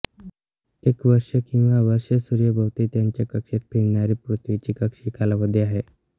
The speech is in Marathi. एक वर्ष किंवा वर्ष सूर्यभोवती त्याच्या कक्षेत फिरणारी पृथ्वीची कक्षीय कालावधी आहे